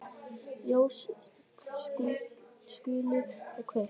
Ljós skulu kveikt.